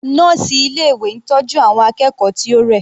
Nọ́ọ̀sì ilé ìwé ń tọ́jú àwọn akẹ́kọ̀ọ́ tí ó rẹ̀.